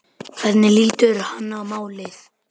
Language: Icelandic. Hvernig lítur hann á málið?